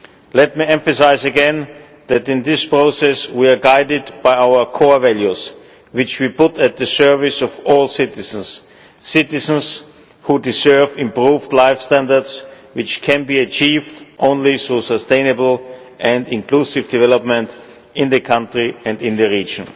Let me emphasise again that in this process we are guided by our core values which we put at the service of all citizens, citizens who deserve improved life standards which can be achieved only through sustainable and inclusive development in the country and in the region.